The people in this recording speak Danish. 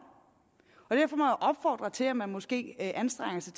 og derfor må jeg opfordre til at man måske anstrenger sig